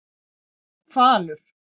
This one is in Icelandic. Falur